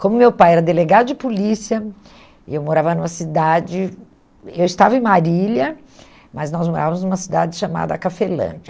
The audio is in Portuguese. Como meu pai era delegado de polícia, eu morava numa cidade, eu estava em Marília, mas nós morávamos numa cidade chamada Cafelândia.